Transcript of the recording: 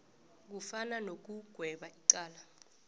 kufana nokugweba icala